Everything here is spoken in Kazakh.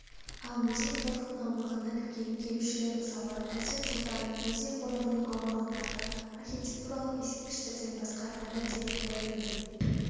ал музей-қорықтың аумағына кірген келушілер мысалы әзірет-сұлтан музей-қорығының аумағындағы архитектуралық ескерткіштерден басқа әмір темір дәуірінен